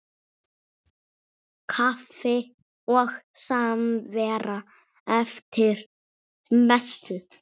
Kaffi og samvera eftir messu.